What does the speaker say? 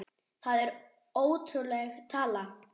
Það er ótrúleg tala.